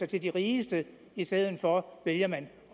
til de rigeste i stedet for vælger man